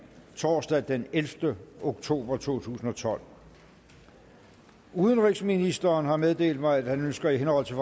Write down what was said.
torsdag den ellevte oktober to tusind og tolv udenrigsministeren har meddelt mig at han ønsker i henhold til